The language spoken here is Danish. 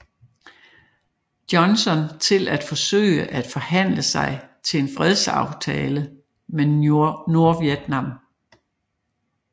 Johnson til at forsøge at forhandle sig til en fredsaftale med Nordvietnam